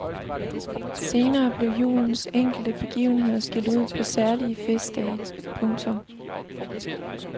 Senere blev julens enkelte begivenheder skilt ud på særlige festdage. punktum